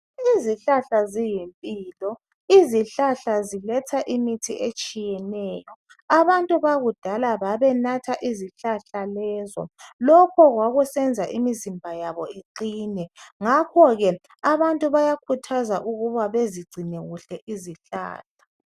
Izihlahla ziyimpilo, Izihlahla ziletha imithi etshiyeneyo. Abantu bakudala babenatha izihlahla lezo lokho kwakusenza imizimba yabo iqine. Ngakho ke abantu bayakhuthazwa ukuba bezigcine kuhle izihlahla.